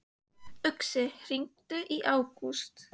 Uxi, hringdu í Ágúst.